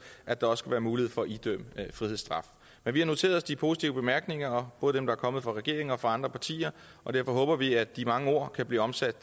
at der skal være mulighed for at idømme frihedsstraf men vi har noteret os de positive bemærkninger både dem der er kommet fra regeringen og fra andre partier og derfor håber vi at de mange ord kan blive omsat